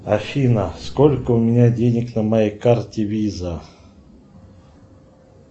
афина сколько у меня денег на моей карте виза